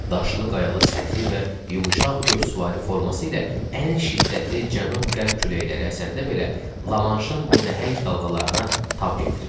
Daşlı qayalı səthi və yumşaq qövsvarı forması ilə ən şiddətli cənub-qərb küləkləri əsəndə belə Lamanşın o nəhəng dalğalarına tab gətirir.